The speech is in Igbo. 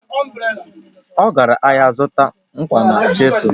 Ọ gara ahịa ịzụta nkwọ na chịsụlụ